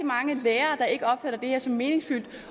mange lærere der ikke opfatter det her som meningsfyldt